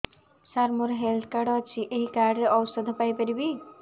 ସାର ମୋର health card ଅଛି ଏହି କାର୍ଡ ରେ ଔଷଧ ପାଇପାରିବି